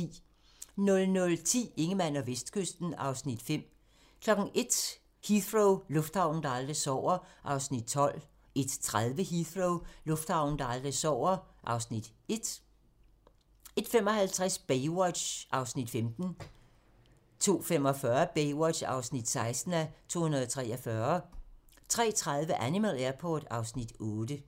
00:10: Ingemann og Vestkysten (Afs. 5) 01:00: Heathrow - lufthavnen, der aldrig sover (Afs. 12) 01:30: Heathrow - lufthavnen, der aldrig sover (Afs. 1) 01:55: Baywatch (15:243) 02:45: Baywatch (16:243) 03:30: Animal Airport (Afs. 8)